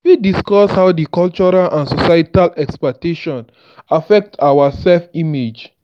you fit discuss how di cultural and societal expectations affect our self-image.